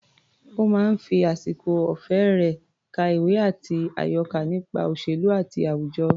Ó máa ń fi àsìkò ọ̀fẹ́ rẹ̀ ka ìwé àti àyọká nípa òṣèlú àti àwùjọ.